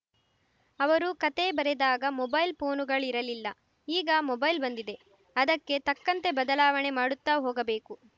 ಅವರು ಕತೆ ಬರೆದಾಗ ಮೊಬೈಲ್‌ ಫೋನುಗಳಿರಲಿಲ್ಲ ಈಗ ಮೊಬೈಲ್‌ ಬಂದಿದೆ ಅದಕ್ಕೆ ತಕ್ಕಂತೆ ಬದಲಾವಣೆ ಮಾಡುತ್ತಾ ಹೋಗಬೇಕು